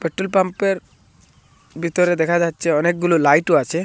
Petrol পাম্পের ভিতরে দেখা যাচ্ছে অনেকগুলো লাইটও আছে।